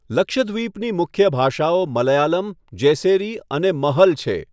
લક્ષદ્વીપની મુખ્ય ભાષાઓ મલયાલમ, જેસેરી અને મહલ છે.